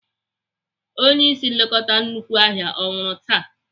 Onye ịsị nlekọta nnukwu ahịa ọ nwụrụ taa?